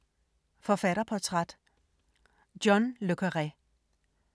Forfatterportræt: John le Carré